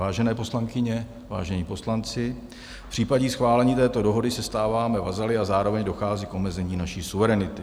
Vážené poslankyně, vážení poslanci, v případě schválení této dohody se stáváme vazaly a zároveň dochází k omezení naší suverenity.